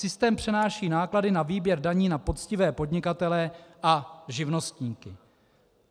Systém přenáší náklady na výběr daní na poctivé podnikatele a živnostníky.